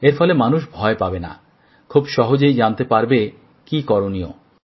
এর ফলে মানুষ ভয় পাবেনা খুব সহজেই জানতে পারবে কি করনীয়